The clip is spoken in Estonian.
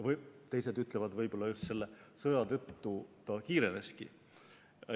Mõni ütleb, et võib-olla just selle sõja tõttu see kiireneski.